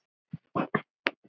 Af hverju þessi hnífur?